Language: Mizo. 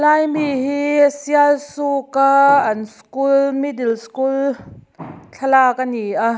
ai mi hi sialsuk a an school middle school thlalak ani a.